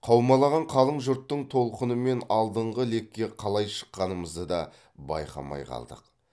қаумалаған қалың жұрттың толқынымен алдыңғы лекке қалай шыққанымызды да байқамай қалдық